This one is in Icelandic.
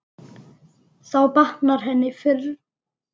Þá batnar henni fyrr.